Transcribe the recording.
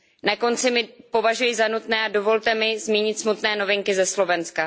Na konci považuji za nutné a dovolte mi zmínit smutné novinky ze Slovenska.